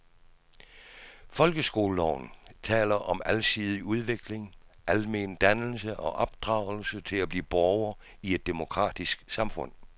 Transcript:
Folkeskoleloven taler om alsidig udvikling, almen dannelse og opdragelse til at blive borger i et demokratisk samfund.